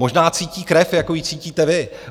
Možná cítí krev, jako ji cítíte vy.